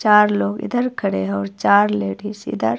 चार लोग इधर खड़े है और चार लेडिस इधर--